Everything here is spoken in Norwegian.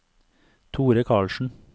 Thore Carlsen